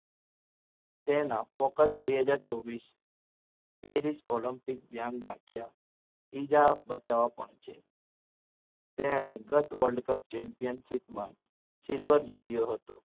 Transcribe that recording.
તેના focus બે હાજર ચોવીસ ત્રેવીસ Olympic ધ્યાન રાખ્યા બીજા બચાવ પણ છે તેણે ગત World Cup Championship માં silver જીત્યો હતો.